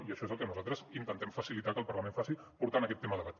i això és el que nosaltres intentem facilitar que el parlament faci portant aquest tema a debat